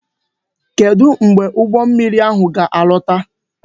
Kedu mgbe ụgbọ mmiri ahụ ga alọta?